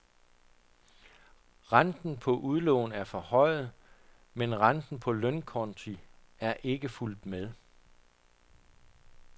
Renten på udlån er forhøjet, men renten på lønkonti er ikke fulgt med.